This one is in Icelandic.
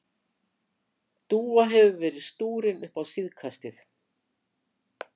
Dúa hefur verið stúrin upp á síðkastið.